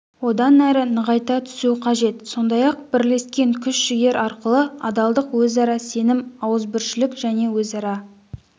одан әрі нығайта түсу қажет сондай-ақ бірлескен күш-жігер арқылы адалдық өзара сенім ауызбіршілік және өзара